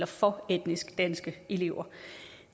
for etnisk danske elever